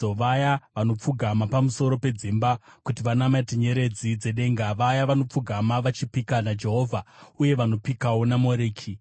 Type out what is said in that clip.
vaya vanopfugama pamusoro pedzimba kuti vanamate nyeredzi dzedenga, vaya vanopfugama vachipika naJehovha uye vanopikawo naMoreki,